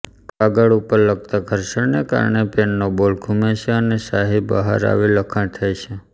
કાગળ ઉપર લખતાઘર્ષણને કારણે પેનનો બોલ ઘુમે છે અને શાહી બહાર આવી લખાણ થાય છે